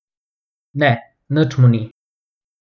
Ne, nič mu ni.